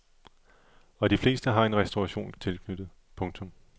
Og de fleste har en restauration tilknyttet. punktum